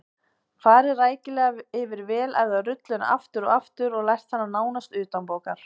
Farið rækilega yfir vel æfða rulluna aftur og aftur og lært hana nánast utanbókar.